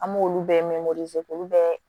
An m'olu bɛɛ k'olu bɛɛ